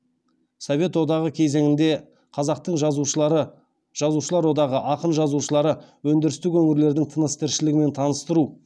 совет одағы кезеңінде қазақтың жазушылар одағы ақын жазушыларды өндірістік өңірлердің тыныс тіршілігімен таныстыру